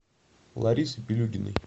ларисы пилюгиной